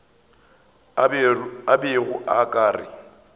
a bego a ka re